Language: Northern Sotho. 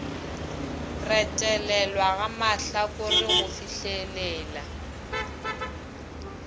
retelelwa ga mahlakore go fihlelela